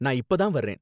நான் இப்ப தான் வரேன்